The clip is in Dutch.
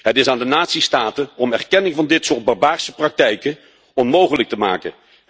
Het is aan de natiestaten om erkenning van dit soort barbaarse praktijken onmogelijk te maken.